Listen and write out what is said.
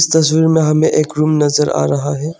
तस्वीर में हमें एक रूम नजर आ रहा है।